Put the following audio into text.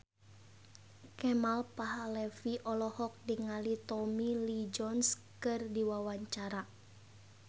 Kemal Palevi olohok ningali Tommy Lee Jones keur diwawancara